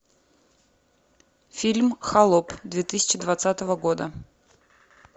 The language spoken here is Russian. фильм холоп две тысячи двадцатого года